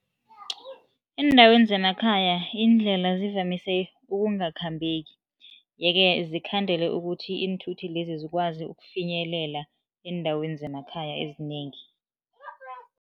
Eendaweni zemakhaya iindlela ngivamise ukungakhambeki yeke, zikhandela ukuthi iinthuthi lezi zikwazi ukufinyelela eendaweni zemakhaya ezinengi.